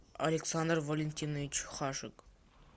александр валентинович хажик